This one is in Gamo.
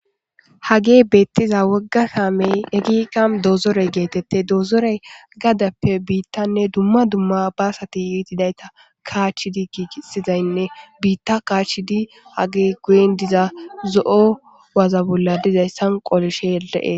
hage beettiza wogga saamey ekika doozorey geetette doozorey gadappe biittanne dumma dumma baasati itidayta kaachidi giigisizaynne biitta kaachidi hagi guyen diza zo7o waza bolla dizayssan qolishele7e